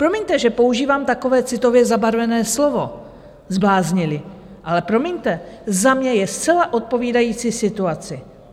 Promiňte, že používám takové citově zabarvené slovo zbláznili, ale promiňte, za mě je zcela odpovídající situaci.